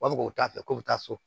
U b'a fɔ k'o t'a fɛ k'o bɛ taa so